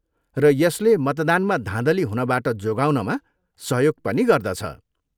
र यसले मतदानमा धाँधली हुनबाट जोगाउनमा सहयोग पनि गर्दछ।